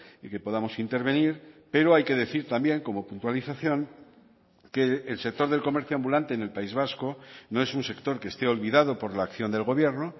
y que podamos intervenir pero hay que decir también como puntualización que el sector del comercio ambulante en el país vasco no es un sector que esté olvidado por la acción del gobierno